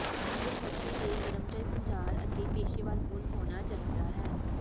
ਇਹ ਮੌਕੇ ਦੇ ਕਰਮਚਾਰੀ ਸੰਚਾਰ ਅਤੇ ਪੇਸ਼ੇਵਰ ਗੁਣ ਹੋਣਾ ਚਾਹੀਦਾ ਹੈ